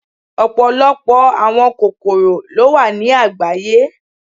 Ọpọlọpọ awọn kokoro lo wa ni agbaye